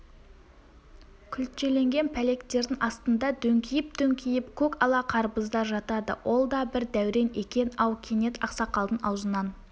күлтеленген пәлектердің астында дөңкиіп-дөңкиіп көк ала қарбыздар жатады ол да бір дәурен екен-ау кенет ақсақалдың аузынан